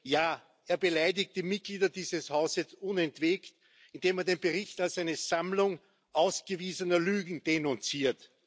Ja, er beleidigt die Mitglieder dieses Hauses unentwegt, indem er den Bericht als eine Sammlung ausgewiesener Lügen denunziert.